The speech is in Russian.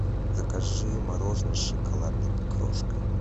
закажи мороженое с шоколадной крошкой